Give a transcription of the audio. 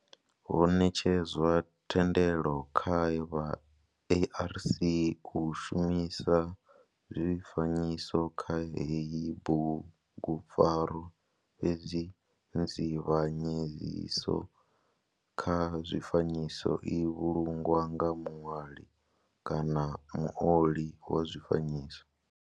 Ho netshedzwa thendelo kha vha ARC u shumisa zwifanyiso kha heyi bugupfarwa fhedzi nzivhanyedziso kha zwifanyiso i vhulungwa nga muṋwali kana muoli wa zwifanyiso.